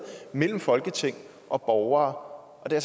mellem folketing og borgere og der